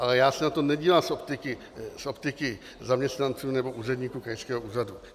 Ale já se na to nedívám z optiky zaměstnanců nebo úředníků krajského úřadu.